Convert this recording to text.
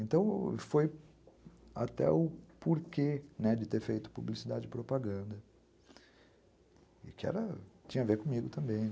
Então, foi até o porquê de ter feito publicidade e propaganda, que tinha a ver comigo também.